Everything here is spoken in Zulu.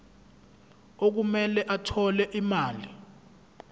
okumele athole imali